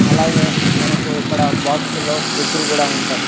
అలాగే మనకు ఇక్కడ బాక్స్ లో ఫ్రిడ్జులు కూడా ఉంటాయి.